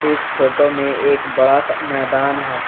इस फोटो में एक बड़ा सा मैदान है।